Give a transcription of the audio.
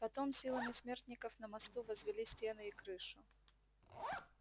потом силами смертников на мосту возвели стены и крышу